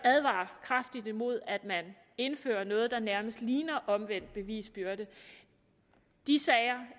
kraftigt advare imod at man indfører noget der nærmest ligner omvendt bevisbyrde de sager